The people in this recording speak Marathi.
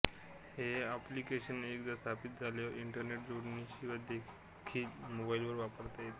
हे एॅॅॅप्लिकेशन एकदा स्थापित झाल्यावर इंंटरनेट जोडणीशिवाय देेेेखील मोबाईलवर वापरता येेेेते